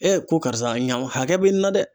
ko karisa ɲaman hakɛ bɛ nin na dɛ.